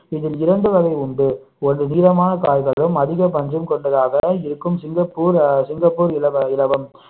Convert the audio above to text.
இதில் இரண்டு வகை உண்டு ஒன்று நீளமான காய்களும் அதிக பஞ்சும் கொண்டதாக இருக்கும் சிங்கப்பூர் ஆஹ் சிங்கப்பூர் இல~ இலவம்